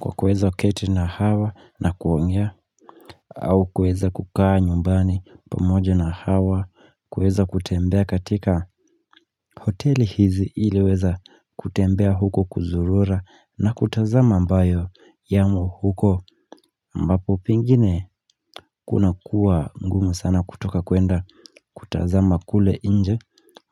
Kwa kuweza keti na hawa na kuongea au kuweza kukaa nyumbani pamoje na hawa kuweza kutembea katika hoteli hizi iliweza kutembea huko kuzurura na kutazama ambayo yamo huko ambapo pengine kuna kuwa ngumu sana kutoka kuenda kutazama kule nje